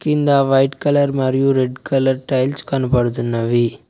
కింద white colour మరియు red colour tiles కనబడుతున్నవి.